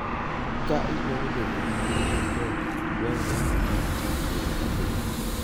Ka idwaro bedo gi ngima maber, dwarore ni imadh chak pile ka pile.